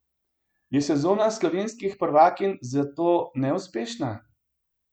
Je sezona slovenskih prvakinj zato neuspešna?